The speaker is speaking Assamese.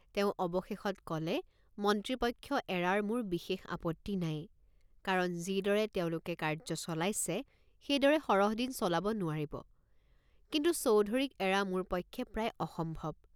তেওঁ অৱশেষত কলে মন্ত্ৰীপক্ষ এৰাৰ মোৰ বিশেষ আপত্তি নাই কাৰণ যিদৰে তেওঁ লোকে কাৰ্য চলাইছে সেইদৰে সৰহদিন চলাব নোৱাৰিব কিন্তু চৌধুৰীক এৰা মোৰ পক্ষে প্ৰায় অসম্ভৱ।